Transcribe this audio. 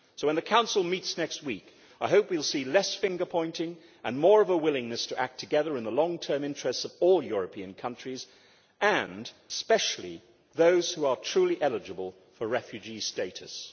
So when the Council meets next week I hope we will see less finger pointing and more of a willingness to act together in the long term interests of all European countries, and, especially those who are truly eligible for refugee status.